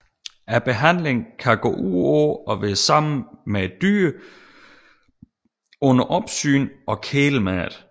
Behandlingen kan gå ud på at være sammen med et dyr under opsyn og kæle med det